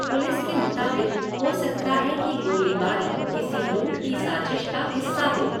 Police के मुताबिक, हो सकता है कि गोली बारी किसी लूट की साजिश का हिस्सा हो।